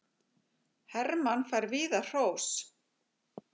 Hermann fær víða hrós